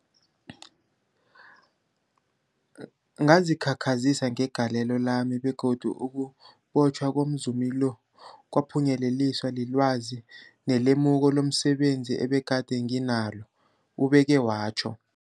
Ngazikhakhazisa ngegalelo lami, begodu ukubotjhwa komzumi lo kwaphunyeleliswa lilwazi nelemuko lomse benzi ebegade nginalo, ubeke watjho.